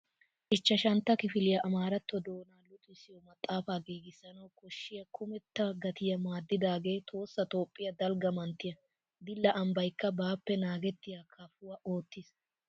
Ichchashantta kifiliya amaaratto doonaa luxissiyo maxaafaa giigissanawu koshshiyaa kumetta gatiya maadidaagee Tohossa Toophphiyaa dalgga manttiya. Dilla ambbaykka baappe naagettiya kaafuwa oottiis.